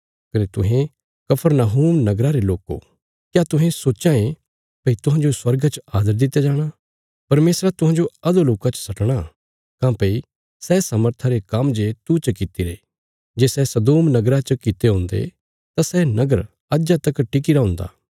कने तुहें कफरनहूम नगरा रे लोको क्या तुहें सोच्चां भई तुहांजो स्वर्गा च आदर दित्या जाणा परमेशरा तुहांजो अधोलोका च सटणा काँह्भई सै सामर्था रे काम्म जे तू च कित्तिरे जे सै सदोम नगरा च कित्ते हुन्दे तां सै नगर अज्जा तक टिक्कीरा हुन्दा